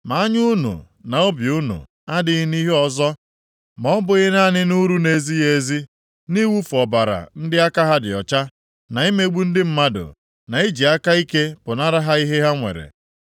Ma anya unu na obi unu adịghị nʼihe ọzọ ma ọ bụghị naanị nʼuru nʼezighị ezi nʼiwufu ọbara ndị aka ha dị ọcha, na imegbu ndị mmadụ, na iji aka ike pụnara ha ihe ha nwere.”